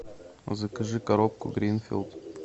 закажи коробку гринфилд